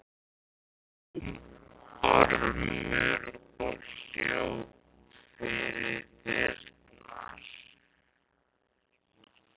hrópaði Ormur og hljóp fyrir dyrnar.